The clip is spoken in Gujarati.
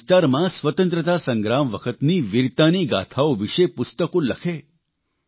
પોતાના વિસ્તારમાં સ્વતંત્રતા સંગ્રામ વખતની વિરતાની ગાથાઓ વિષે પુસ્તકો લખે